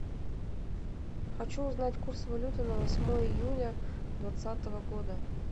хочу узнать курс валюты на восьмое июля двадцатого года